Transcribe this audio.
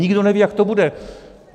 Nikdo neví, jak to bude.